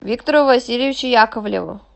виктору васильевичу яковлеву